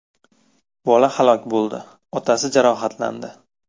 Bola halok bo‘ldi, otasi jarohatlandi.